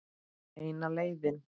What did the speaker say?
Eina leiðin.